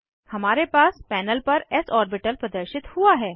हमारे पास पैनल पर एस ऑर्बिटल प्रदर्शित हुआ है